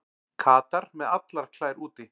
Katar með allar klær úti